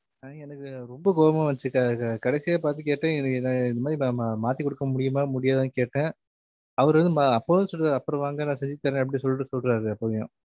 ஆஹ் எனக்கு ரொம்ப கோவமா வந்துருச்சி அஹ் க~ கடைசியா பாத்து கேட்டன் இந்தமாரி மா~ மாத்திக்குடுக்க முடியுமா முடியாதான்னு கேட்டன், அவரு வந்து அஹ் அப்பவும் சொல்றாரு அப்பறம் வாங்க நான் செஞ்சித்தறேன் அப்டி சொல்ட்டு சொல்றாரு அப்பயும்